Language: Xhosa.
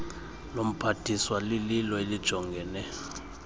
lomphathiswa lilo elijongene